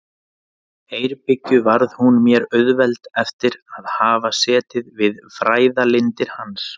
Eyrbyggju varð hún mér auðveld eftir að hafa setið við fræðalindir hans.